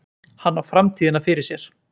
Hann á framtíðina fyrir sér.